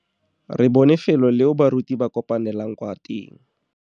Re bone felô leo baruti ba kopanelang kwa teng.